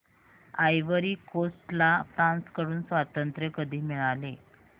ivory Coast ला France कडून स्वातंत्र्य कधी मिळाले